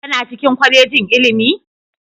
Kana cikin kwalejin ilimi?